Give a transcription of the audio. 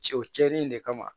Cɛ o cɛnin in de kama